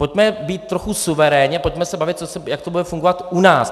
Pojďme být trochu suverénní, pojďme se bavit, jak to bude fungovat u nás.